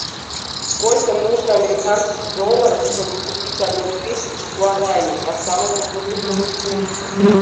сколько нужно американских долларов чтобы купить одну тысячу гуарани по самому выгодному курсу